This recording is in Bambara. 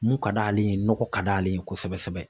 Mun ka d'ale ye nɔgɔ ka d'ale ye kosɛbɛ kosɛbɛ